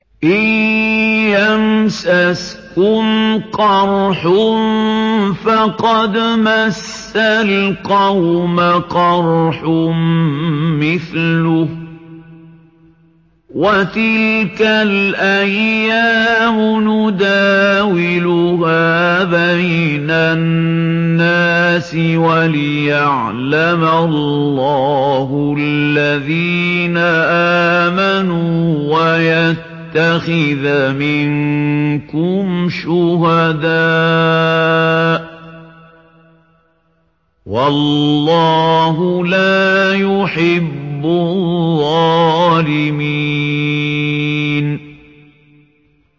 إِن يَمْسَسْكُمْ قَرْحٌ فَقَدْ مَسَّ الْقَوْمَ قَرْحٌ مِّثْلُهُ ۚ وَتِلْكَ الْأَيَّامُ نُدَاوِلُهَا بَيْنَ النَّاسِ وَلِيَعْلَمَ اللَّهُ الَّذِينَ آمَنُوا وَيَتَّخِذَ مِنكُمْ شُهَدَاءَ ۗ وَاللَّهُ لَا يُحِبُّ الظَّالِمِينَ